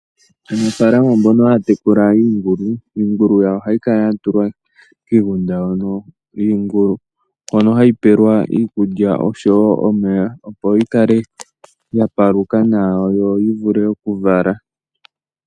Aanafalama mbono haya tekula iingulu, iingulu yawo ohayi kala ya tulwa kiigunda hono yiingulu hono hayi pewelwa iikulya oshowo omeya opo yikale ya paluka nawa yo yi vule oku vala.